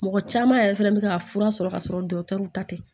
Mɔgɔ caman yɛrɛ fɛnɛ bɛ ka fura sɔrɔ ka sɔrɔ ta tɛ